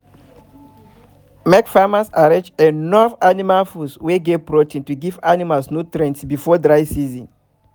make farmers arrange enough animal food wey get protein to give animals nutrient before dry season